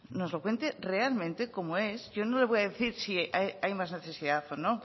nos lo cuente realmente como es yo no le voy a decir si hay más necesidad o no